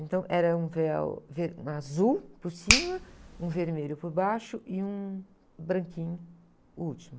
Então, era um véu ver, azul por cima, um vermelho por baixo e um branquinho, o último.